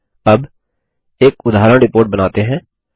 ठीक है अब एक उदाहरण रिपोर्ट बनाते हैं